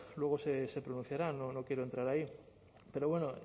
luego se pronunciarán no quiero entrar ahí pero bueno